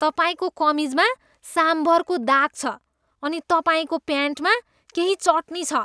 तपाईँको कमिजमा साम्भरको दाग छ अनि तपाईँको प्यान्टमा केही चटनी छ।